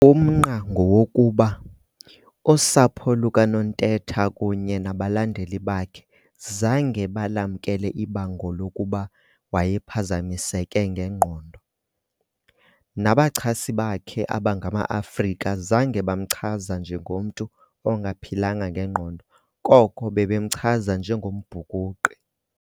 Umnqa ngowokuba, usapho lukaNontetha kunye nabalandeli bakhe zange balamkele ibango lokuba wayephazamiseke ngengqondo. Nabachasi bakhe abangamaAfrika zange bamchaza njengomntu ongaphilanga ngengqondo koko babemchaza njengombhukuqi.